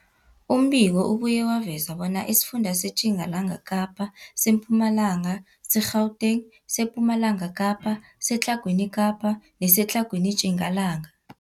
Umbiko ubuye waveza bona isifunda seTjingalanga Kapa, seMpumalanga, seGauteng, sePumalanga Kapa, seTlhagwini Kapa neseTlhagwini Tjingalanga.